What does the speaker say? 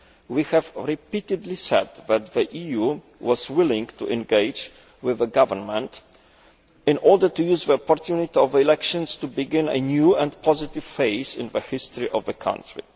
We have repeatedly said that the EU was willing to engage with the government in order to use the opportunity of elections to begin a new and positive phase in the history of the country.